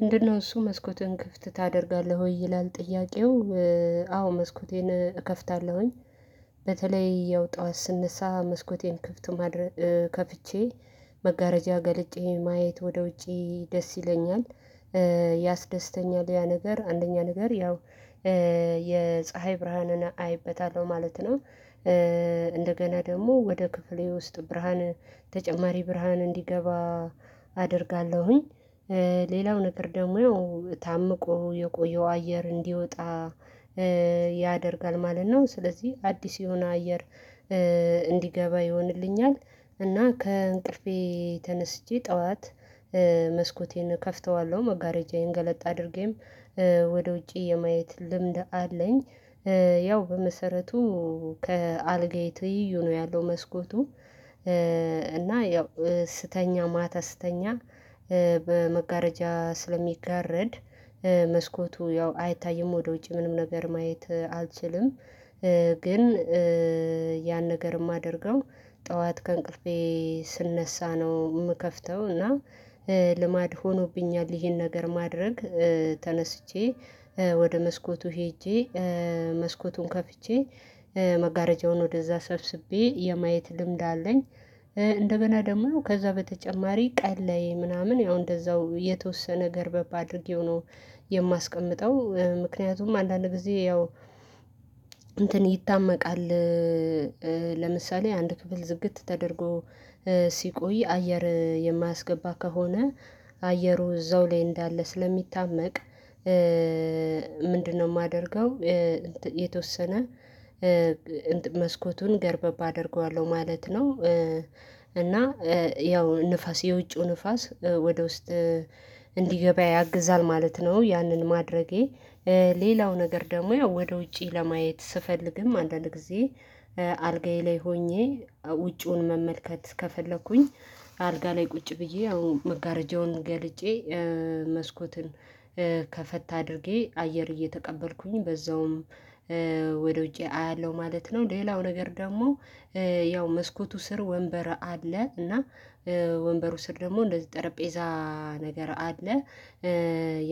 ምንድነው እሱ መስኮትን ክፍት ታደርጋለህ ወይ? ይላል ጥያቄው። አዎ መስኮቴን እከፍታለሁኝ። በተለይ ያው ጠዋት ስነሳ መስኮቴን ክፍት ማድረግ ከፍቼ መጋረጃ ገልጬ ማየት ወደ ውጪ ደስ ይለኛል። ያስደስተኛል ያ ነገር አንደኛ ነገር ያው የፀሀይ ብርሃንን አይበታለሁ ማለት ነው። እንደገና ደግሞ ወደ ክፍሌ ውስጥ ብርሃን ተጨማሪ ብርሃን እንዲገባ አደርጋለሁኝ። ሌላው ነገር ደግሞ ያው ታምቆ የቆየው አየር እንዲወጣ ያደርጋል ማለት ነው። ስለዚህ አዲስ የሆነ አየር እንዲገባ ይሆንልኛል። እና ከእንቅልፌ ተነስቼ ጠዋት መስኮቴን ከፍተዋለሁ መጋረጃዬን ገለጥ አድርጌም ወደ ውጪ የማየት ልምድ አለኝ። ያው በመሰረቱ ከአልጋዬ ትይዩ ነው ያለው መስኮቱ። እና ያው ስተኛ ማታ ስተኛ በመጋረጃ ስለሚጋረድ መስኮቱ ያው አይታይም ወደ ውጭ ምንም ነገር ማየት አልችልም። ግን ያን ነገር የማደርገው ጠዋት ከእንቅልፌ ስነሳ ነው። የምከፍተው እና ልማድ ሆኖብኛል። ይሄን ነገር ማድረግ ተነስቼ ወደ መስኮቱ ሄጄ መስኮቱን ከፍቼ መጋረጃውን ወደዛ ሰብስቤ የማየት ልምድ አለኝ። እንደገና ደግሞ ከዛ በተጨማሪ ቀንላይ ምናምን ያው እንደዛው የተወሰነ ገረበብ አድርጌው ነው። የማስቀምጠው ምክንያቱም አንዳንድ ጊዜ ያው እንትን ይታመቃል። ለምሳሌ አንድ ክፍል ዝግት ተደርጎ ሲቆይ አየር የማያስገባ ከሆነ አየሩ እዛው ላይ እንዳለ ስለሚታመቅ። ምንድነው? የማደርገው የተወሰነ መስኮቱን ገረበብ አደርገዋለሁ ማለት ነው። እና ያው ንፋስ የውጪው ንፋስ ወደ ውስጥ እንዲገባ ያግዛል ማለት ነው። ያንን ማድረጌ ሌላው ነገር ደግሞ ያው ወደ ውጪ ለማየት ስፈልግም አንዳንድ ጊዜ አልጋዬ ላይ ሆኜ ውጪውን መመልከት ከፈለኩኝ። አልጋ ላይ ቁጭ ብዬ አሁን መጋረጃውን ገልጬ መስኮትን ከፈት አድርጌ አየር እየተቀበልኩኝ በዛውም ወደ ውጪ አያለሁ ማለት ነው። ሌላው ነገር ደግሞ ያው መስኮቱ ስር ወንበር አለ እና ወንበሩ ስር ደግሞ እንደዚህ ጠረጴዛ ነገር አለ።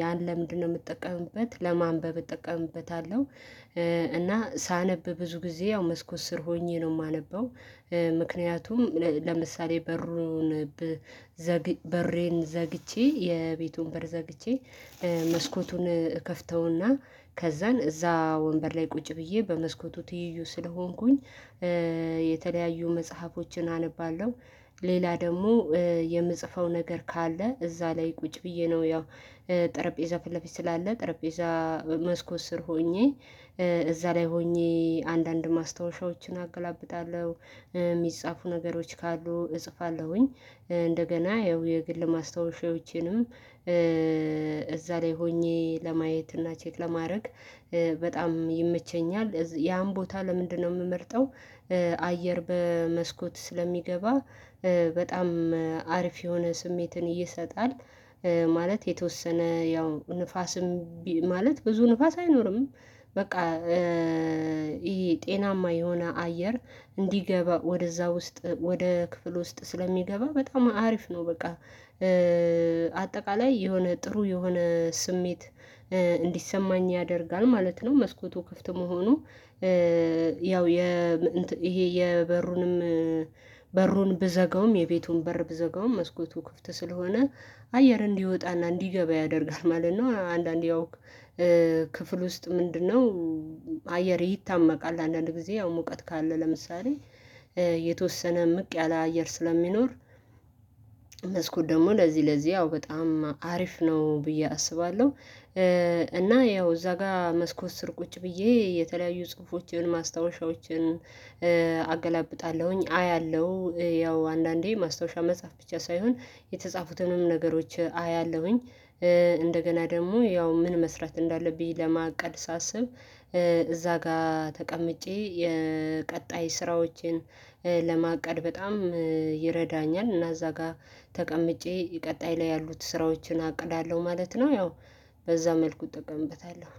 ያን ለምንድነው የምጠቀምበት? ለማንበብ እጠቀምበታለሁ። እና ሳነብ ብዙ ጊዜ ያው መስኮት ስር ሆኜ ነው የማነበው። ምክንያቱም ለምሳሌ በሩን በሬን ዘግቼ የቤቱን በር ዘግቼ መስኮቱን እከፍተውና ከዛን እዛ ወንበር ላይ ቁጭ ብዬ በመስኮቱ ትይዩ ስለሆንኩኝ የተለያዩ መጽሐፎችን አነባለሁ። ሌላ ደግሞ የምጽፈው ነገር ካለ እዛ ላይ ቁጭ ብዬ ነው ያው ጠረጴዛ ፊትለፊት ስላለ ጠረጴዛ መስኮት ስር ሆኜ እዛ ላይ ሆኜ አንዳንድ ማስታወሻዎችን አገላብጣለሁ የሚጻፉ ነገሮች ካሉ እጽፋለሁኝ። እንደገና ያው የግል ማስታወሻዎችንም እዛ ላይ ሆኜ ለማየት እና ቼክ ለማድረግ በጣም ይመቸኛል ያን ቦታ ለምንድነው የምመርጠው? አየር በመስኮት ስለሚገባ በጣም አሪፍ የሆነ ስሜትን እየሰጣል። ማለት የተወሰነ ያው ንፋስም ማለት ብዙ ንፋስ አይኖርም። በቃ ይሄ ጤናማ የሆነ አየር እንዲገባ ወደዛ ውስጥ ወደ ክፍል ውስጥ ስለሚገባ በጣም አሪፍ ነው በቃ። አጠቃላይ የሆነ ጥሩ የሆነ ስሜት እንዲሰማኝ ያደርጋል ማለት ነው። መስኮቱ ክፍት መሆኑ። ያው የ ይሄ የበሩንም በሩን ብዘጋውም የቤቱን በር ብዘጋውም መስኮቱ ክፍት ስለሆነ አየር እንዲወጣና እንዲገባ ያደርጋል ማለት ነው። አንዳንዴ ክፍል ውስጥ ምንድነው? አየር ይታመቃል አንዳንድ ጊዜ ያው ሙቀት ካለ ለምሳሌ የተወሰነ ምቅ ያለ አየር ስለሚኖር። መስኮት ደግሞ ለዚህ ለዚህ ያው በጣም አሪፍ ነው ብዬ አስባለሁ። እና ያው እዛ ጋር መስኮት ስር ቁጭ ብዬ የተለያዩ ጽሁፎችን ማስታወሻዎችን አገላብጣለሁኝ አያለሁ ያው አንዳንዴ ማስታወሻ መጽሐፍ ብቻ ሳይሆን የተጻፉትንም ነገሮች አያለሁኝ። እንደገና ደግሞ ያው ምን መስራት እንዳለብኝ ለማቀድ ሳስብ እዛ ጋር ተቀምጬ የቀጣይ ስራዎቼን ለማቀድ በጣም ይረዳኛል። እና እዛ ጋር ተቀምጬ ቀጣይ ላይ ያሉት ስራዎችን አቅዳለሁ ማለት ነው። ያው በዛ መልኩ እጠቀምበታለሁ